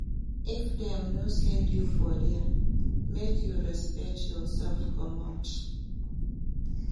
If dem no send you for there, make you respect yoursef comot.